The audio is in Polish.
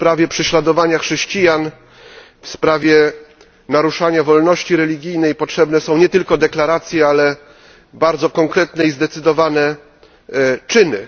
W sprawie prześladowania chrześcijan, w sprawie naruszania wolności religijnej potrzebne są nie tylko deklaracje, ale bardzo konkretne i zdecydowane czyny.